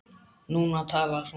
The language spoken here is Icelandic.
Núna talar hún.